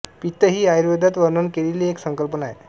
पित्त हि आयुर्वेदात वर्णन केलेली एक संकल्पना आहे